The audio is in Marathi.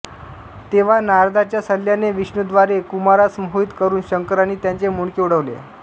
तेव्हा नारदाच्या सल्ल्याने विष्णूद्वारे कुमारास मोहित करून शंकरांनी त्याचे मुंडके उडवले